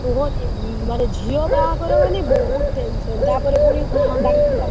କୁହନି ମାନେ ଝିଅ ବାହାଘର ମାନେ ବହୁତ tension ତାପରେ ପୁଣି,